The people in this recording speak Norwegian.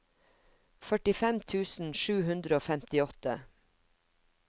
førtifem tusen sju hundre og femtiåtte